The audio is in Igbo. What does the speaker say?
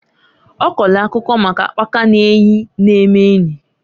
Ọ kọọlụ akụkọ maka akpaka n'eyi na-eme enyi.